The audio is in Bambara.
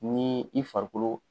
Ni i farikolo